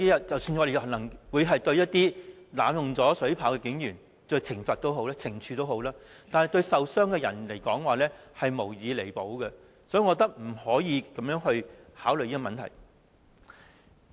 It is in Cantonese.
即使可對濫用水炮車的警員作出懲處，但對傷者而言，其所受傷害無以彌補，所以我覺得不能這樣考慮這個問題。